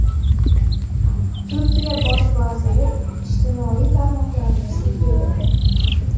Turkiya bosh vaziri ijtimoiy tarmoqlarni sudga berdi.